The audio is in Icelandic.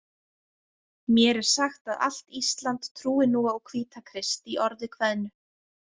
Mér er sagt að allt Ísland trúi nú á Hvítakrist, í orði kveðnu.